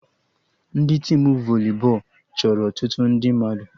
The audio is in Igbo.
Ndị tim voli bọọlụ chọrọ ọtụtụ ndị mmadụ